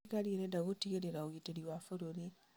Thirikari ĩrenda gũtigĩrĩra ũgitĩri wa bũrũri.